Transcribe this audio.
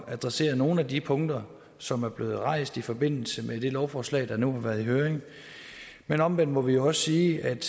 adressere nogle af de punkter som er blevet rejst i forbindelse med det lovforslag der nu har været i høring men omvendt må vi også sige at